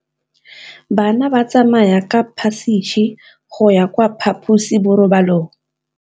Bana ba tsamaya ka phašitshe go ya kwa phaposiborobalong.